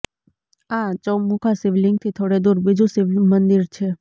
આ ચૌમુખા શિવલીંગથી થોડે દુર બીજુ શિવમંદિર છે